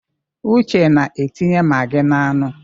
Uche na-etinye magi n'anụ.